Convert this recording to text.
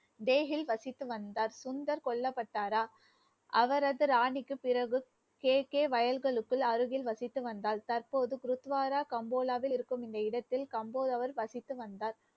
வசித்து வந்த சுந்தர் கொல்லப்பட்டாரா அவரது ராணிக்கு பிறகு, கேக்கே வயல்களுக்குள் அருகில் வசித்து வந்தால், தற்போது குருத்வாரா கம்போடாவில் இருக்கும் இந்த இடத்தில் கம்போடவர் வசித்து வந்தார்